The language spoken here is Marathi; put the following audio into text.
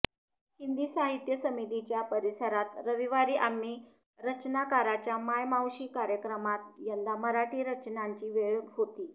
हिंदी साहित्य समितीच्या परिसरात रविवारी आम्ही रचनाकाराच्या माय मावशी कार्यक्रमात यंदा मराठी रचनांची वेळ होती